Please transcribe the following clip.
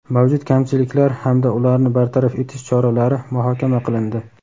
mavjud kamchiliklar hamda ularni bartaraf etish choralari muhokama qilindi.